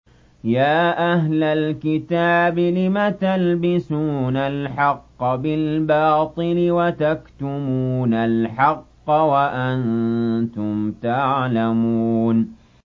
يَا أَهْلَ الْكِتَابِ لِمَ تَلْبِسُونَ الْحَقَّ بِالْبَاطِلِ وَتَكْتُمُونَ الْحَقَّ وَأَنتُمْ تَعْلَمُونَ